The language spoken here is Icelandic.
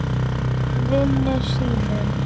Vini sínum.